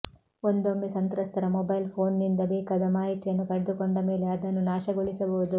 ಒಂದೊಮ್ಮೆ ಸಂತ್ರಸ್ತರ ಮೊಬೈಲ್ ಫೋನ್ನಿಂದ ಬೇಕಾದ ಮಾಹಿತಿಯನ್ನು ಪಡೆದುಕೊಂಡ ಮೇಲೆ ಅದನ್ನು ನಾಶಗೊಳಿಸಬಹುದು